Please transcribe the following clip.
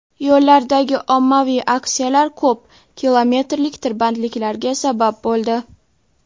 Yo‘llardagi ommaviy aksiyalar ko‘p kilometrlik tirbandliklarga sabab bo‘ldi.